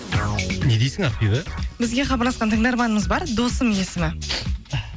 не дейсің ақбибі бізге хабарласқан тыңдарманымыз бар досым есімі